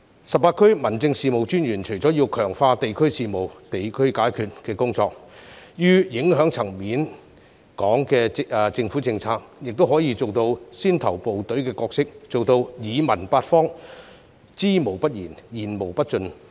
十八區民政事務專員除要強化"地區事務，地區解決"的工作外，於影響層面較廣的政府政策上，亦可以做好先頭部隊的角色，做到"耳聽八方、知無不言，言無不盡"。